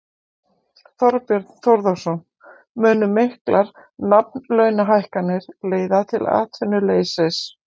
Þorbjörn Þórðarson: Munu miklar nafnlaunahækkanir leiða til atvinnuleysis?